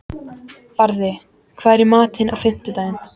Barði, hvað er í matinn á fimmtudaginn?